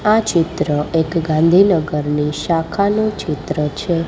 આ ચિત્ર એક ગાંધીનગરની શાખાનું ચિત્ર છે.